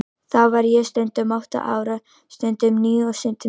Þá var ég stundum átta ára, stundum níu og stundum tíu.